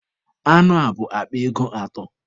Anụ a bụ akpa ego atọ.